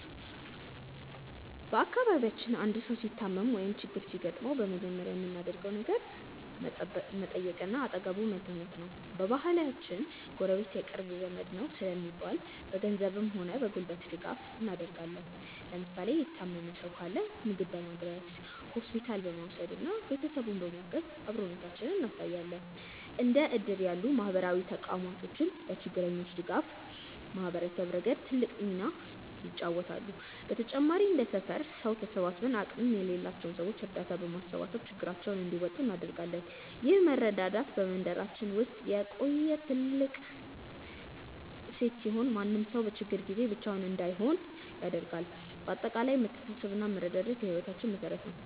በአካባቢያችን አንድ ሰው ሲታመም ወይም ችግር ሲገጥመው በመጀመሪያ የምናደርገው ነገር መጠየቅና አጠገቡ መገኘት ነው። በባህላችን "ጎረቤት የቅርብ ዘመድ ነው" ስለሚባል፣ በገንዘብም ሆነ በጉልበት ድጋፍ እናደርጋለን። ለምሳሌ የታመመ ሰው ካለ ምግብ በማድረስ፣ ሆስፒታል በመውሰድና ቤተሰቡን በማገዝ አብሮነታችንን እናሳያለን። እንደ እድር ያሉ ማህበራዊ ተቋማትም ለችግረኞች ድጋፍ በማሰባሰብ ረገድ ትልቅ ሚና ይጫወታሉ። በተጨማሪም እንደ ሰፈር ሰው ተሰባስበን አቅም ለሌላቸው ሰዎች እርዳታ በማሰባሰብ ችግራቸውን እንዲወጡ እናደርጋለን። ይህ መረዳዳት በመንደራችን ውስጥ የቆየ ትልቅ እሴት ሲሆን፣ ማንም ሰው በችግር ጊዜ ብቻውን እንዳይሆን ያደርጋል። በአጠቃላይ መተሳሰብና መረዳዳት የህይወታችን መሠረት ነው።